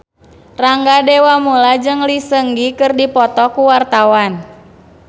Rangga Dewamoela jeung Lee Seung Gi keur dipoto ku wartawan